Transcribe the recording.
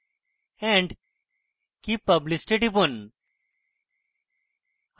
save and keep published এ টিপুন